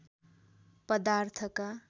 पदार्थका